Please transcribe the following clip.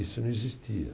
Isso não existia.